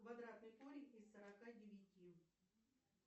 квадратный корень из сорока девяти